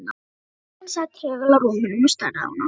Fjölskyldan sat þögul á rúmunum og starði á hana.